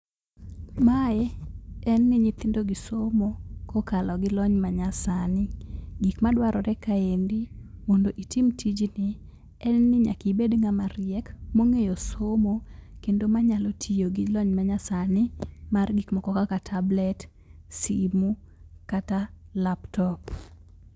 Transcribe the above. Mae en ni nyithindo gi somo kokalo gi lony ma nya sani . Gik madwarore kae endi mondo itim tijni en ni nyaka ibed ng'ama riek mong'eyo somo kendo manyalo tiyo gi lony ma nya sani mar gik moko kaka tablet, simu kata laptop.